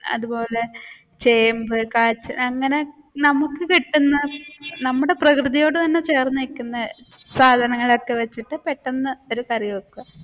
അതുപോലെ ചേമ്പ് അങ്ങനെ നമുക്ക് കിട്ടുന്ന നമ്മുടെ പ്രകൃതിയോട് തന്നെ ചേർന്ന് നിക്കുന്ന സാധങ്ങൾ ഒക്കെ വെച്ചിട്ട് പെട്ടെന്നു ഒരു കറി വെക്കും.